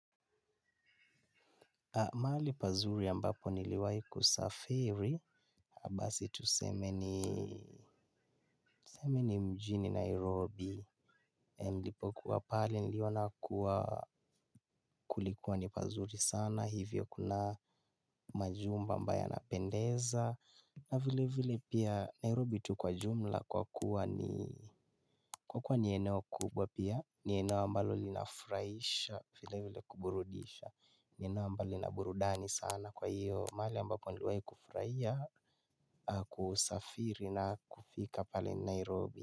Mahali pazuri ambapo niliwai kusafiri basi tuseme ni mjini Nairobi nilipokuwa pale niliona kuwa kulikuwa ni pazuri sana hivyo kuna majumba ambayo yanapendeza. Na vile vile pia Nairobi tu kwa jumla kwa kuwa ni eneo kubwa pia ni eneo ambalo linafuraisha vile vile kuburudisha ni eneo ambalo lina burudani sana kwa hiyo male ambapo niliwai kufuraia kusafiri na kufika pale ni Nairobi.